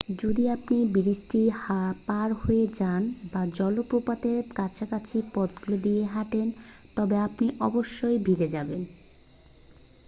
যদি আপনি ব্রিজটি পার হয়ে যান বা জলপ্রপাতের কাছাকাছি পথগুলি দিয়ে হাঁটেন তবে আপনি অবশ্যই ভিজে যাবেন